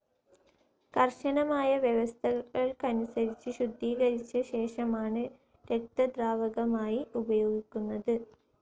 കർശനമായ വ്യവസ്ഥകൾക്കനുസരിച്ച് ശുദ്ധീകരിച്ച ശേഷമാണ് രക്തദ്രാവകമായി ഉപയോഗിക്കുന്നത്.